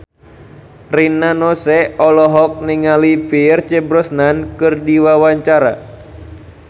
Rina Nose olohok ningali Pierce Brosnan keur diwawancara